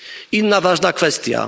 Inna ważna kwestia.